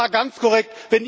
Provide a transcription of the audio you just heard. Das war ganz korrekt.